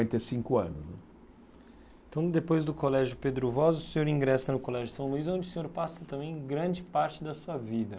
depois do Colégio Pedro Voz, o senhor ingressa no Colégio São Luís, onde o senhor passa também grande parte da sua vida.